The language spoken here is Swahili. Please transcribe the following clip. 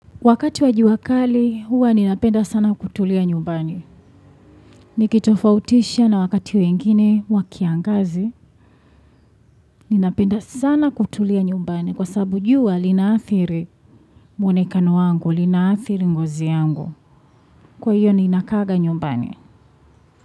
Wakati wa jua kali, huwa ninapenda sana kutulia nyumbani. Nikitofautisha na wakati wengine wa kiangazi, ninapenda sana kutulia nyumbani kwa sababu jua linaathiri mwonekano wangu, linaathiri ngozi yangu. Kwa hiyo, ninakaaga nyumbani.